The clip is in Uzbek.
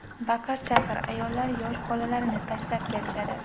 Baqir-chaqir, ayollar yosh bolalarini tashlab kelishadi.